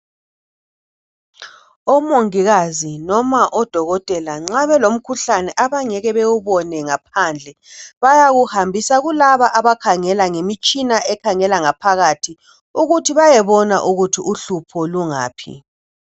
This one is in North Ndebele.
Omongikazi noma odokotela nxa belomkhuhlane abangeke bawubone ngaphandle bayawuhambisa kulabo abakhangela ngemitshina ekhangele ngaphakathi ukuthi beyebona ukuthi uhlupho lungaphi.